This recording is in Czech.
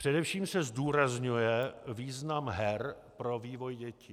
Především se zdůrazňuje význam her pro vývoj dětí.